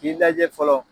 K'i lajɛ fɔlɔ